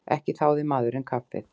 Ekki þáði maðurinn kaffi.